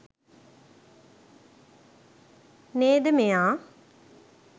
නේද මෙයා